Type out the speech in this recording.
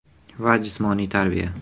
va jismoniy tarbiya.